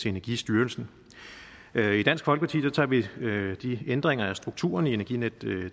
energistyrelsen i dansk folkeparti tager vi de ændringer af strukturen i energinet